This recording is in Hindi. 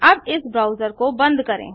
अब इस ब्राउजर को बंद करें